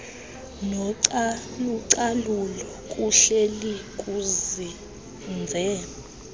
nocalucalulo kuhleli kuzinze